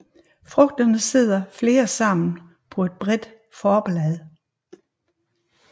Frugterne sidder flere sammen på et bredt forblad